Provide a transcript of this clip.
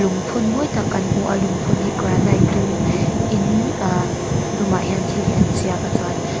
lungphun mawi tak kan hmu a lungpun hi granite dum in ahh dumah hian thil hi an ziak a chuan --